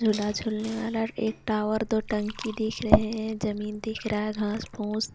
जुला जुलने वाला एक टावर दो टंकी दिख रहे हे ज़मीन दिख रहा हे घास फुस.